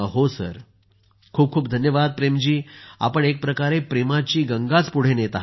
प्रेम जी खूप खूप धन्यवाद आपण एकप्रकारे प्रेमाची गंगाच पुढे नेत आहात